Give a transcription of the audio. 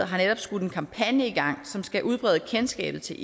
har netop skudt en kampagne i gang som skal udbrede kendskabet til